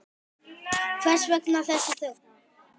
Hvers vegna þessi þögn?